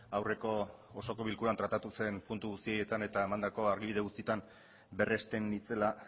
aurreko osoko bilkuran tratatu zen puntu guzti haietan eta emandako argibide guztietan berresten nintzela